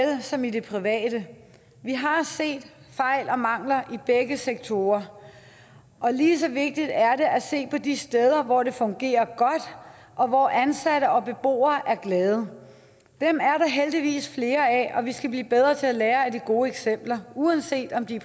som i det private vi har set fejl og mangler i begge sektorer og lige så vigtigt er det at se på de steder hvor det fungerer godt og hvor ansatte og beboere er glade dem er der heldigvis flere af og vi skal blive bedre til at lære af de gode eksempler uanset om de